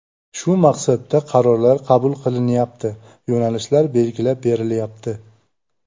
Shu maqsadda qarorlar qabul qilinyapti, yo‘nalishlar belgilab berilyapti.